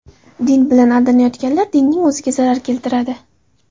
Din bilan aldayotganlar dinning o‘ziga zarar keltiradi.